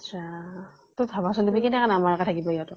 ইছ ৰাম ! তই ভাবা চোন কেনেকৈ নামাৰা কে থাকিবা ইহঁতক ?